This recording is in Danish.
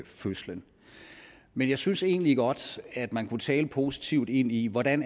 fødslen men jeg synes egentlig godt at man kunne tale positivt ind i hvordan